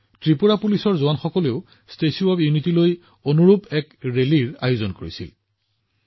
ত্ৰিপুৰা আৰক্ষীৰ জোৱানসকলে আকৌ একতা দিৱস উদযাপন কৰিবলৈ ত্ৰিপুৰাৰ পৰা ষ্টেচু অব্ ইউনিটিলৈ বাইক ৰেলী উলিয়াইছে